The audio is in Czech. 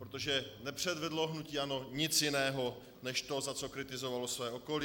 Protože nepředvedlo hnutí ANO nic jiného než to, za co kritizovalo své okolí.